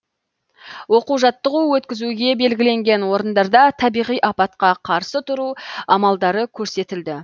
оқу жаттығу өткізуге белгіленген орындарда табиғи апатқа қарсы тұру амалдары көрсетілді